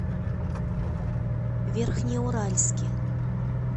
верхнеуральске